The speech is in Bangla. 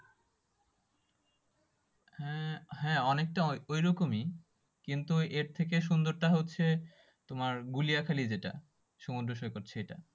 হ্যাঁ অনেকটা ওই রকমই কিন্তু এর থেকে সুন্দরটা হচ্ছে তোমার গুলিয়া খালি যেটা সমুদ্র সৈকত সেটা